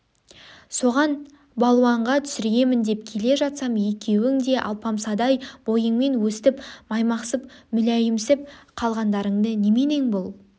соған балуанға түсіремін деп келе жатсам екеуің де алпамсадай бойыңмен өстіп маймақсып мүләйімсіп қалған-дарың неменең бұл